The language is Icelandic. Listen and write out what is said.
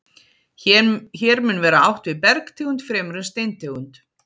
Hér mun vera átt við bergtegund fremur en steintegund.